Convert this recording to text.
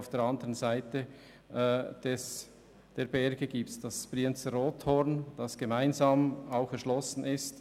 Auf der Seite zu den Bergen hin befindet sich das Brienzer Rothorn, das gemeinsam erschlossen ist.